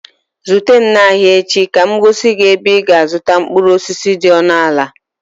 Zute m n'ahịa echi ka m gosi gị ebe ị ga-azụta mkpụrụ osisi dị ọnụ ala